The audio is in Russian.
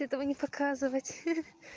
этого не показывать